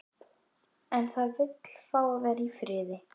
En það vill fá að vera í friði.